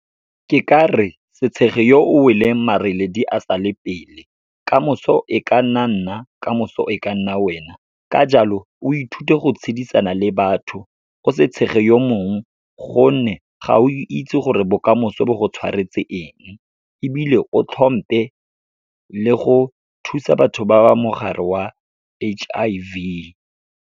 Ke ka re se tshege yo o weleng, mareledi a sa le pele, kamoso e ka nna nna kamoso e ka nna wena. Ka jalo, o ithute go tshedisana le batho, o se tshege yo mongwe, gonne ga o itse gore bokamoso bo go tshwaretse eng, ebile o hlomphe le go thusa batho ba ba mogare wa H_I_V.